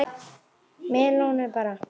Melónur bara!